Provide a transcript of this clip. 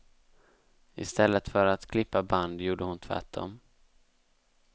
Istället för att klippa band gjorde hon tvärtom.